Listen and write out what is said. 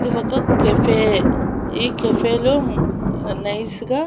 ఇవి ఒక కెఫే ఈ కెఫే లో నైస్ గా --